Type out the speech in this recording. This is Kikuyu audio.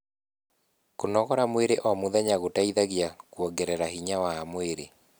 kũnogora mwĩrĩ o mũthenya gũteithagia kuongerera hinya wa mwĩrĩ